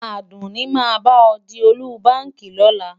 Àdùnní máa bá ọ di ọ́lúbaàkì lọ́la.